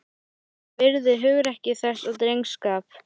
Ég virði hugrekki þess og drengskap.